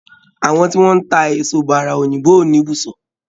Àwọn tí wọ́n ń tá èso bàrà òyìnbó ò ní ibùsọ̀.